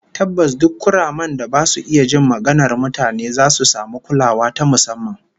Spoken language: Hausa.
Tabbas, duk kuramen da ba su iya jin maganar mutane zasu samu kulawa ta musamman